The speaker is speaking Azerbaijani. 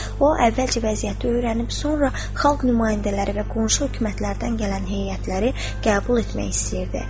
O əvvəlcə vəziyyəti öyrənib, sonra xalq nümayəndələri və qonşu hökumətlərdən gələn heyətləri qəbul etmək istəyirdi.